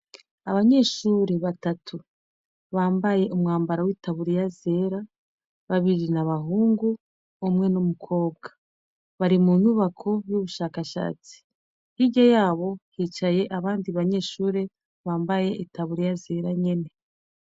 Abanyeshure batatu bambaye umwambaro w'itaburiya zera babiri n'abahungu umwe n'umukobwa bari mu nyubako y'ubushakashatsi hirya yabo hicaye abandi banyeshure bambaye itaburiya zera nyene.